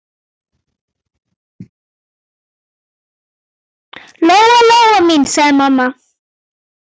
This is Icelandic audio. Lóa-Lóa mín, sagði mamma.